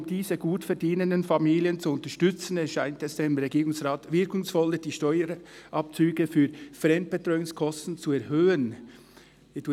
«Um diese gutverdienenden Familien zu unterstützen, erscheint es dem Regierungsrat wirkungsvoller, die Steuerabzüge für Fremdbetreuungskosten zu erhöhen [...]».